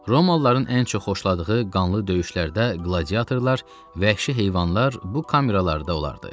Romalıların ən çox xoşladığı qanlı döyüşlərdə qladiatorlar, vəhşi heyvanlar bu kameralarda olardı.